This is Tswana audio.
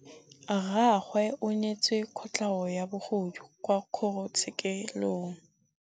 Rragwe o neetswe kotlhaô ya bogodu kwa kgoro tshêkêlông.